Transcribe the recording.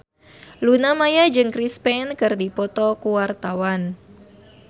Luna Maya jeung Chris Pane keur dipoto ku wartawan